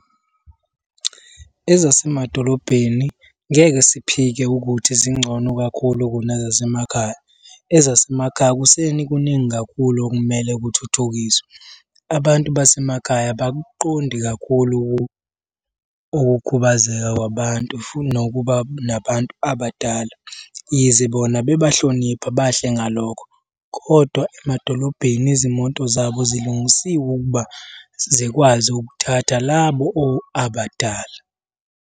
Ezasemadolobheni ngeke siphike ukuthi zingcono kakhulu kunezasemakhaya. Ezasemakhaya kuseni kuningi kakhulu okumele kuthuthukiswe. Abantu basemakhaya abakuqondi kakhulu ukukhubazeka kwabantu futhi nokuba nabantu abadala. Yize bona bebahlonipha bahle ngalokho, kodwa emadolobheni izimoto zabo zilungisiwe ukuba zikwazi ukuthatha labo abadala.